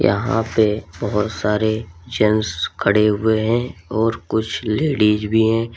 यहां पे बोहोत सारे जेंस खड़े हुए हैं और कुछ लेडीज भी हैं।